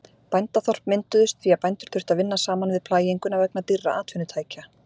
Bændaþorp mynduðust því að bændur þurftu að vinna saman við plæginguna vegna dýrra atvinnutækja.